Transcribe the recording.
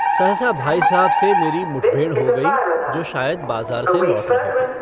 सहसा भाई साहब से मेरी मुठभेड़ हो गयी जो शायद बाजार से लौट रहे थे।